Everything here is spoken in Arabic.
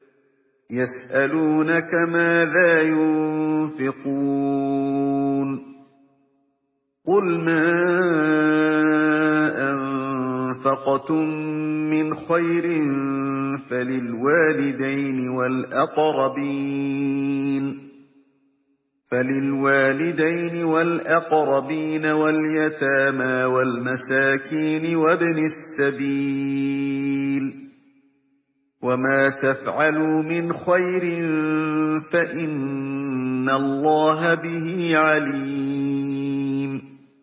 يَسْأَلُونَكَ مَاذَا يُنفِقُونَ ۖ قُلْ مَا أَنفَقْتُم مِّنْ خَيْرٍ فَلِلْوَالِدَيْنِ وَالْأَقْرَبِينَ وَالْيَتَامَىٰ وَالْمَسَاكِينِ وَابْنِ السَّبِيلِ ۗ وَمَا تَفْعَلُوا مِنْ خَيْرٍ فَإِنَّ اللَّهَ بِهِ عَلِيمٌ